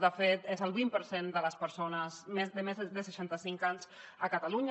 de fet és el vint per cent de les persones de més de seixanta cinc anys a catalunya